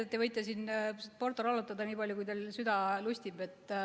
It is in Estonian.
Teate, te võite siin portorollotada nii palju, kui teil süda lustib.